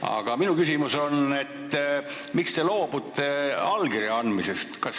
Aga minu küsimus on see: miks te loobute allkirja andmisest?